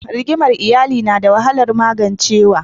Rigimar iyali nada wahalar magancewa.